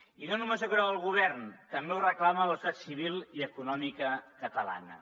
i no només ho creu el govern també ho reclama la societat civil i econòmica catalana